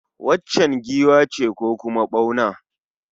Waccan giwa ce ko kuma ɓauna?